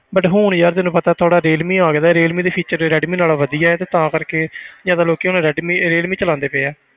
But ਹੁਣ ਯਾਰ ਤੈਨੂੰ ਪਤਾ ਥੋੜ੍ਹਾ ਰੀਅਲਮੀ ਆ ਗਿਆ ਰੀਅਲਮੀ ਦੀ feature ਤੇ ਰੈਡਮੀ ਨਾਲੋਂ ਵਧੀਆ ਹੈ ਤੇ ਤਾਂ ਕਰਕੇ ਜ਼ਿਆਦਾ ਲੋਕੀ ਹੁਣ ਰੈਡਮੀ ਰੀਅਲਮੀ ਚਲਾਉਂਦੇ ਪਏ ਹੈ।